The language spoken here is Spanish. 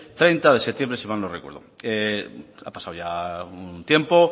treinta de septiembre si mal no recuerdo ha pasado ya un tiempo